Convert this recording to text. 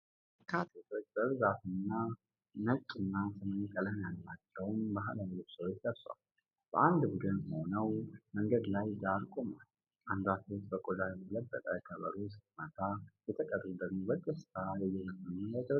በርካታ ወጣት ሴቶች በብዛት ነጭ እና ሰማያዊ ቀለም ያላቸውን ባህላዊ ልብሶች ለብሰው፤ በአንድ ቡድን ሆነው መንገድ ዳር ቆመዋል። አንዷ ሴት በቆዳ የተለበጠ ከበሮ ስትመታ፤ የተቀሩት ደግሞ በደስታ እየዘፈኑ እና እያጨበጨቡ ነው።